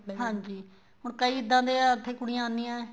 ਹਾਂਜੀ ਹੁਣ ਕੀ ਇੱਦਾਂ ਦੇ ਹੈ ਉੱਥੇ ਕੁੜੀਆਂ ਆਣੀਆਂ ਏ